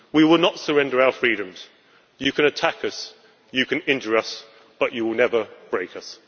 We will not surrender our freedoms. You can attack us, you can injure us, but you will never break us.